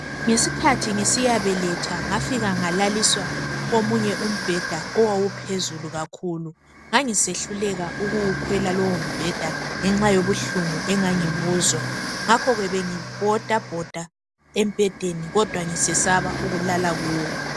Ngesikhathi ngisiyabeletha ngafika ngalaliswa komunye umbeda owawuphezulu kakhulu ngangisehluleka ukuwukwela lowombeda ngenxa yobuhlungu engangibuzwa ngakhoke bengibhodabhoda embeden kodwa ngisesaba ukulala kuwo